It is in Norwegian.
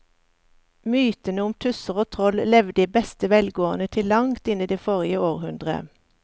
Mytene om tusser og troll levde i beste velgående til langt inn i forrige århundre.